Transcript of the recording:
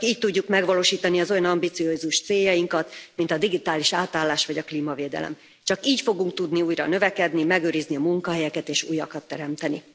Csak így tudjuk megvalósítani az olyan ambiciózus céljainkat, mint a digitális átállás vagy a klímavédelem, csak így fogunk tudni újra növekedni, megőrizni a munkahelyeket és újakat teremteni.